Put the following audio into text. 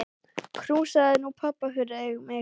Knúsaðu nú pabba fyrir mig.